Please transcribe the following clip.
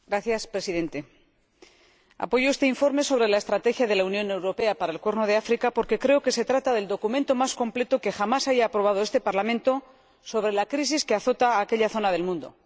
Señor Presidente, apoyo este informe sobre la estrategia de la Unión Europea para el Cuerno de África porque creo que se trata del documento más completo que jamás haya aprobado este Parlamento sobre la crisis que azota a aquella zona del mundo.